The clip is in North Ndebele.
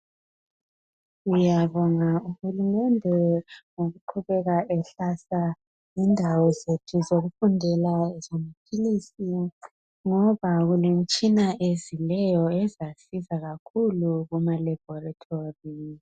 sibonga uhulumende ngokuqubeka ehlasa indawo zethu zokufundela ezama philizi ngoba kumitshina ezileyo ezasisiza kakhulu kuma labholitholi